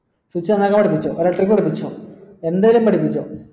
switch on ആക്കാൻ പഠിപ്പിച്ചോ electric പഠിപ്പിച്ചോ എന്തേലും പഠിപ്പിച്ചോ